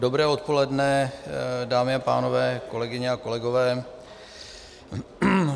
Dobré odpoledne, dámy a pánové, kolegyně a kolegové.